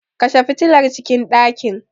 Kashe fitilar cikin ɗakin.